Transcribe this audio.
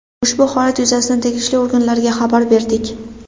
Ushbu holat yuzasidan tegishli organlarga xabar berdik.